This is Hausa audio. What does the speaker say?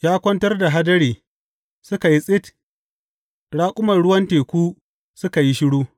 Ya kwantar da hadiri suka yi tsit; raƙuman ruwan teku suka yi shiru.